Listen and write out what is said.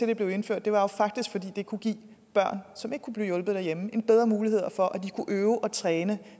det blev indført var jo faktisk at det kunne give børn som ikke kunne blive hjulpet derhjemme bedre muligheder for at de kunne øve og træne